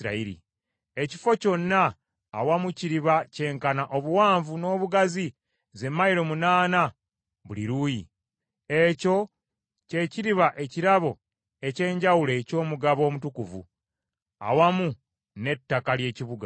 Ekifo kyonna awamu kiriba kyenkana obuwanvu n’obugazi ze mayilo munaana buli luuyi. Ekyo kye kiriba ekirabo eky’enjawulo eky’omugabo omutukuvu, awamu n’ettaka ly’ekibuga.